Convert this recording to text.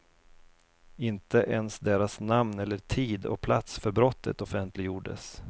Inte ens deras namn eller tid och plats för brottet offentliggjordes.